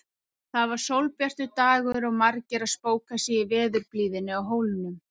Það var sólbjartur dagur og margir að spóka sig í veðurblíðunni á Hólnum.